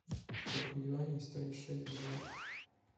сколько юаней стоит шесть долларов